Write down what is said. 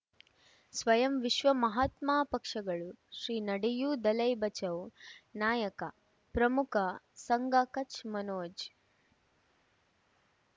ಸ್ವಯಂ ವಿಶ್ವ ಮಹಾತ್ಮ ಪಕ್ಷಗಳು ಶ್ರೀ ನಡೆಯೂ ದಲೈ ಬಚೌ ನಾಯಕ ಪ್ರಮುಖ ಸಂಘ ಕಚ್ ಮನೋಜ್